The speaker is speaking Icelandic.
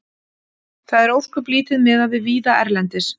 Það er ósköp lítið miðað við víða erlendis.